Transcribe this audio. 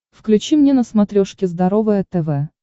включи мне на смотрешке здоровое тв